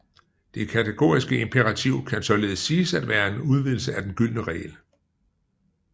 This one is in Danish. Det kategoriske imperativ kan således siges at være en udvidelse af den gyldne regel